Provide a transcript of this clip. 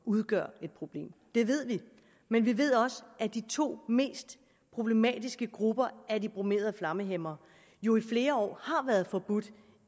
udgør et problem det ved vi men vi ved også at de to mest problematiske grupper af bromerede flammehæmmere jo i flere år har været forbudt